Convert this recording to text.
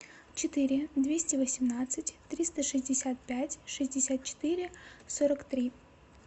четыре двести восемнадцать триста шестьдесят пять шестьдесят четыре сорок три